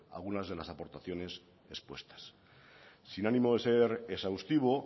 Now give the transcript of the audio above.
algunas de las aportaciones expuestas sin ánimo de ser exhaustivo